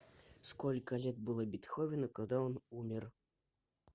сколько лет было бетховену когда он умер